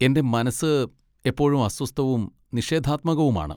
എന്റെ മനസ്സ് എപ്പോഴും അസ്വസ്ഥവും നിഷേധാത്മകവുമാണ്.